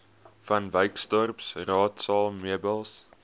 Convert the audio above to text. vanwyksdorp raadsaal meubels